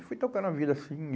E fui trocando a vida, assim.